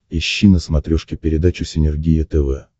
ищи на смотрешке передачу синергия тв